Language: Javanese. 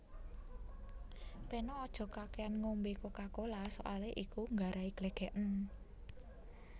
Peno aja kakekan ngombe Coca Cola soale iku nggarai glegeken